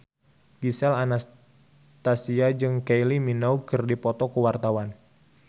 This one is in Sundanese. Gisel Anastasia jeung Kylie Minogue keur dipoto ku wartawan